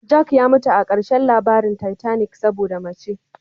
Jack ya mutu a ƙarshen labarin titanic saboda mace.